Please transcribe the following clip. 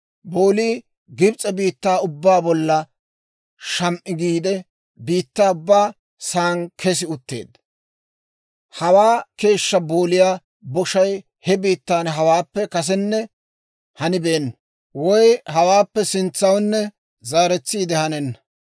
Boolii Gibs'e biittaa ubbaa bolla sham"i giide, biittaa ubba saan kessi utteedda. Hawaa keeshshaa booliyaa boshay he biittaan hawaappe kasenna hanibeenna; woy hawaappe sintsawunne zaaretsiide hanenna.